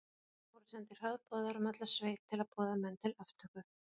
Það voru sendir hraðboðar um alla sveit að boða menn til aftöku.